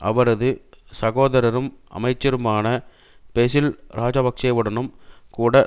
அவரது சகோதரரும் அமைச்சருமான பெசில் இராஜபக்ஷவுடனும் கூட